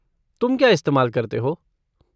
तुम क्या इस्तेमाल करते हो?